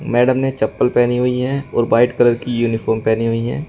Madam ने चप्पल पहनी हुई है और वाइट कलर की यूनिफॉर्म पहनी हुई है।